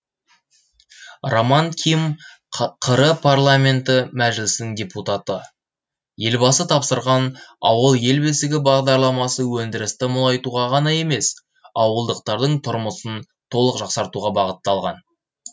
роман ким қр парламенті мәжілісінің депутаты елбасы тапсырған ауыл ел бесігі бағдарламасы өндірісті молайтуға ғана емес ауылдықтардың тұрмысын толық жақсартуға бағытталған